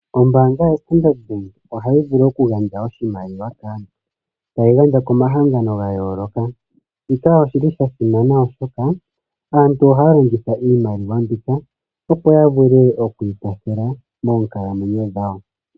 Ombaanga yoStandard bank ohaya vulu okugandja oshimaliwa kaantu tayi gandja komagangano gaayooloka shika oshili sha simna oshoka aantu ohaya longitha iimaliwa mbika opo ya vule okwiikwathela moonkalamwenyo dhawo.